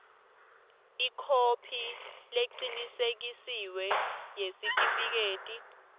ikhophi lecinisekisiwe yesitifiketi